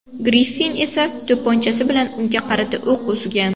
Griffin esa to‘pponchasi bilan unga qarata o‘q uzgan.